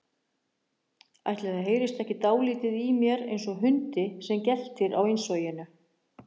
Ætli það heyrist ekki dáldið í mér einsog hundi sem geltir á innsoginu.